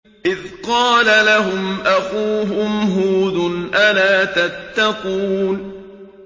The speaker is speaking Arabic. إِذْ قَالَ لَهُمْ أَخُوهُمْ هُودٌ أَلَا تَتَّقُونَ